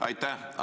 Aitäh!